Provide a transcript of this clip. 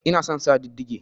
Ina son sa didige